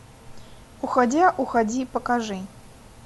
уходя уходи покажи